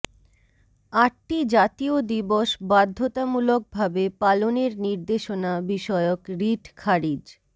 আটটি জাতীয় দিবস বাধ্যতামূলকভাবে পালনের নির্দেশনা বিষয়ক রিট খারিজ